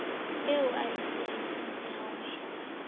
eo a e sietseng rehauhetswe